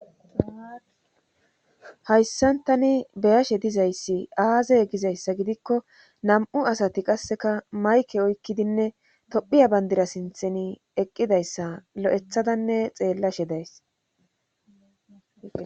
Hayssantani beyashe dizayssi aazey gizayssa gidikko nam7u asati qasseka mayke oykkidinne tophiya bandira sintheni eqqidayssa lo7ethadanne xeellashe days